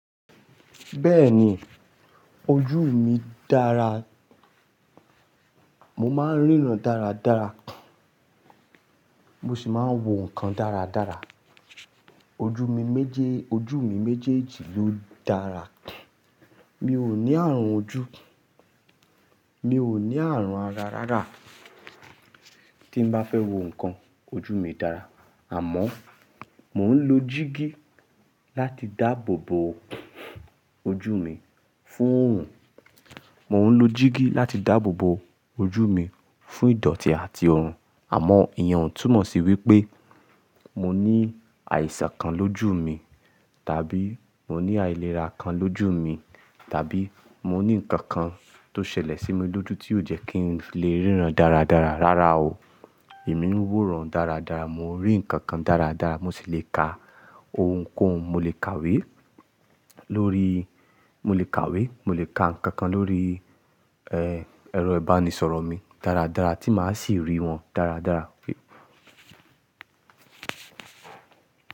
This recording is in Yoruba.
Bẹ́ẹ̀ni, ojú mi dára. Mo máa ń ríran dáradára, mo sì máa ń wo nǹkan dáradára. Ojú mi méjèèjì ló dára. Mi ò ní àrùn ojú, mi ò ní àrùn ara rárá. Tí n bá fẹ́ wo nǹkan, ojú mi dára. Àmọ́, mò ń lo jíígì láti dáàbò bo ojú mi fún ìdọ̀tí àti òórùn. Àmọ́, ìyẹn ò túmọ̀ sí wí pé mo ní àìsàn kan lójú mi, tàbí mo ní àìlera kan lójú mi, tàbí mo ní ǹkan kan tó ṣẹlẹ̀ sí mi lójú tí yóò jẹ́ kí ń lè ríran dáradára. Rárá o, èmi ń wòran dáradára, mo ń rí ǹkan kan dáradára, mo sì lè ka ohunkóhun, mo lè kàwé mo lè kàwé, mo lè ka ǹkankan lórí, ẹ́, ẹ̀rọ ìbánisọ̀rọ̀ mi dáradára tí màá sì rí wọn dáradára.